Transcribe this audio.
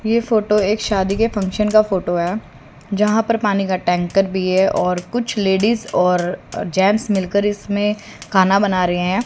ये फोटो एक शादी के फंक्शन का फोटो है जहां पर पानी का टैंकर भी है और कुछ लेडीज और जेंट्स मिलकर इसमें खाना बना रहे है।